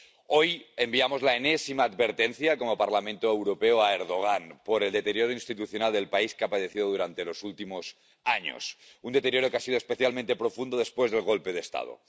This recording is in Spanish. Hoy enviamos la enésima advertencia como Parlamento Europeo al señor Erdogan por el deterioro institucional que el país ha padecido durante los últimos años. Un deterioro que ha sido especialmente profundo después del golpe de Estado.